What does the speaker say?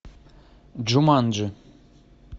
джуманджи